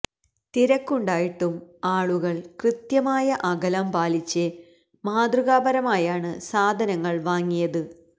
തിരക്കുണ്ടായിട്ടും ആളുകള് കൃത്യമായ അകലം പാലിച്ച് മാതൃകാപരമായാണ് സാധനങ്ങള് വാങ്ങിയത്